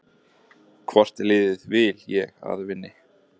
Hvort liðið vil ég að vinni?